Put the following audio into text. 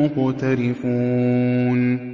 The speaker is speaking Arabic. مُّقْتَرِفُونَ